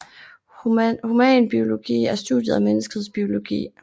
Humanbiologi er studiet af menneskets biologi